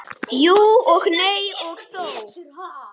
Jú og nei og þó.